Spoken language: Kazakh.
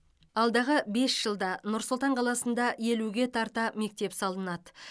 алдағы бес жылда нұр сұлтан қаласында елуге тарта мектеп салынады